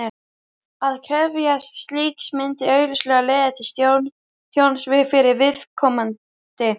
Að krefjast slíks myndi augljóslega leiða til tjóns fyrir viðkomandi.